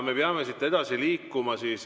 Me peame siit edasi liikuma.